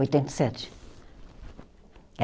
Oitenta e sete. É?